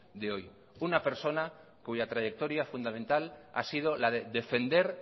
de hoy una persona cuya trayectoria fundamental ha sido la de defender